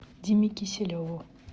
диме киселеву